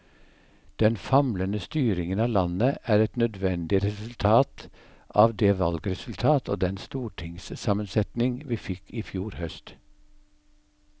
Den famlende styringen av landet er et nødvendig resultat av det valgresultat og den stortingssammensetning vi fikk i fjor høst.